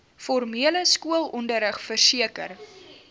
formele skoolonderrig verseker